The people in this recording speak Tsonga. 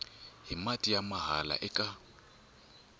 hi mati ya mahala eka